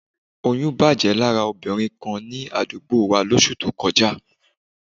Oyún bàjẹ́ lára obìnrin kan ní àdúgbò wa lóṣù tó kọjá